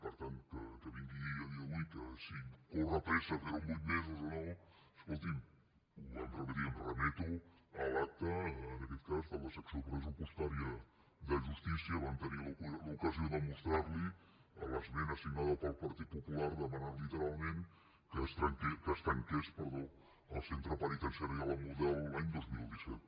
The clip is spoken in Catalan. per tant que vingui a dir avui que si corre pressa fer ho en vuit mesos o no escolti’m ho vam repetir i em remeto a l’acta en aquest cas de la secció pressupostària de justícia vam tenir l’ocasió de mostrar li l’esmena signada pel partit popular demanant literalment que es tanqués el centre penitenciari de la model l’any dos mil disset